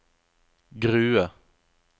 Grue